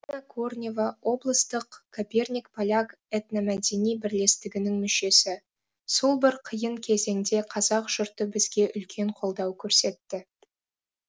корнева облыстық коперник поляк этномәдени бірлестігінің мүшесі сол бір қиын кезеңде қазақ жұрты бізге үлкен қолдау көрсетті